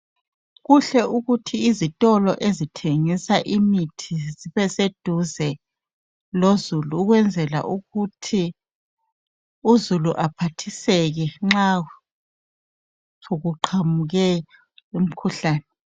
Kuhle ukuthi izitolo ezithengisa imithi zibeseduze lozulu ukwenzela ukuthi uzulu aphathiseke nxa sokuqhamuke umkhuhlane.